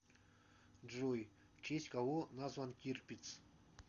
джой в честь кого назван тирпиц